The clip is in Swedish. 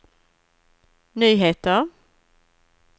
nyheter